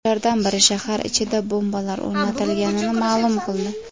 Ulardan biri shahar ichida bombalar o‘rnatilganini ma’lum qildi .